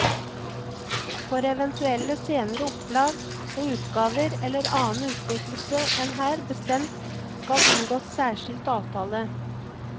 For eventuelle senere opplag og utgaver eller annen utnyttelse enn her bestemt skal inngås særskilt avtale.